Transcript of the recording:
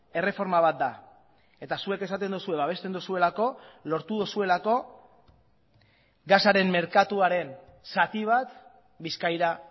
erreforma bat da eta zuek esaten duzue babesten duzuelako lortu duzuelako gasaren merkatuaren zati bat bizkaira